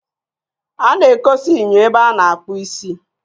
A na-ekosa enyo ebe a na-akpụ isi.